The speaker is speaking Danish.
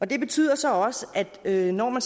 det betyder så også at når man